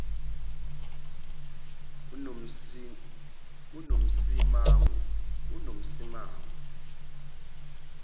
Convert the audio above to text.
unomsimangu